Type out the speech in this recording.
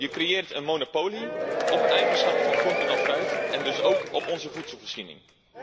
Je creëert een monopolie op een eigenschap van groenten of fruit en dus ook op onze voedselvoorziening.